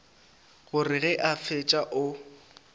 gore ge a fetša o